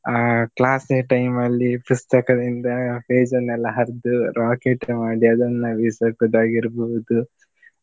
ಆ class ನ time ಲ್ಲಿ ಪುಸ್ತಕದಿಂದ page ನ್ನೆಲ್ಲಾ ಹರ್ದು rocket ಮಾಡಿ ಅದನ್ನು ಬಿಸುಕುವುದು ಆಗಿರ್ಬೋದು.